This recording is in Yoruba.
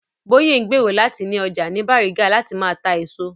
Bóyè ń gbèrò láti ni ọjà ní Bàrígà láti máa ta èso